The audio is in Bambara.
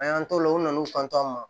A y'an t'o la u nana n'u kanto an ma